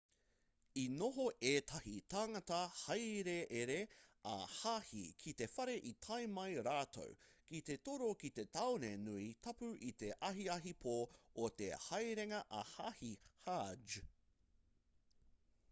i noho ētahi tāngata hāereere ā-hāhi ki te whare i tae mai rātou ki te toro ki te tāone nui tapu i te ahiahi pō o te haerenga ā-hāhi hajj